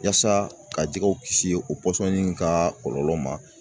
Yaasa ka jɛgɛw kisi o pɔsɔni ka kɔlɔlɔ ma